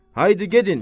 Haydi gedin!